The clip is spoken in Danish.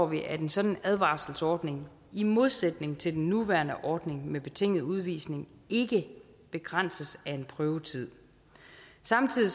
vi at en sådan advarselsordning i modsætning til den nuværende ordning med betinget udvisning ikke begrænses af en prøvetid samtidig